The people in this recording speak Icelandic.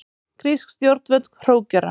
Grísk stjórnvöld hrókera